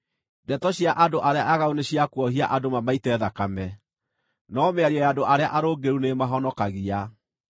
Ndeto cia andũ arĩa aaganu nĩ cia kuohia andũ mamaite thakame, no mĩario ya andũ arĩa arũngĩrĩru nĩĩmahonokagia.